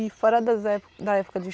E fora das é da época de